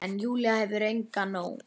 En Júlía hefur fengið nóg.